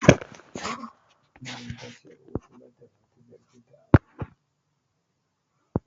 Maryam ta ce ƴar ƴar'uwarta bata so ta ziyarceta.